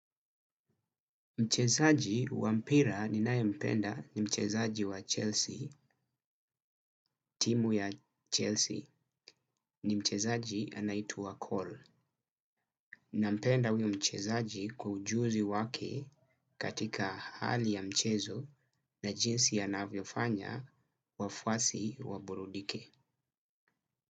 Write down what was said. Mchezaji wa mpira ninayempenda ni mchezaji wa Chelsea, timu ya Chelsea ni mchezaji anaitwa Cole. Nampenda huyo mchezaji kwa ujuzi wake katika hali ya mchezo na jinsi anavyofanya wafwasi waburudike.